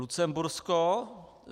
Lucembursko.